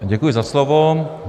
Děkuji za slovo.